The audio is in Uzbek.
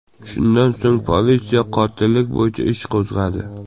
Shundan so‘ng politsiya qotillik bo‘yicha ish qo‘zg‘adi.